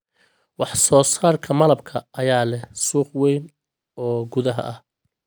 Wax soo saarka malabka ayaa leh suuq weyn oo gudaha ah.